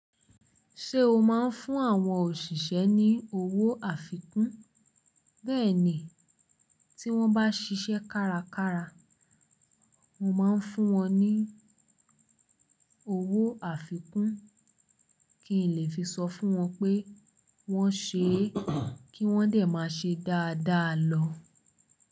Ṣé o máa ń fún àwọn òṣìṣẹ́ ní owó àfikún? Bẹ́ẹ̀ ni, tí wọ́n bá ṣiṣẹ́ kárakára, mo máa ń fún wọn ní owó àfikún, kí n lè fi sọ fún wọn pé wọ́n ṣè, kí wọ́n dè máa ṣe dáadáa lọ.